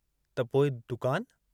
त पोइ दुकान...?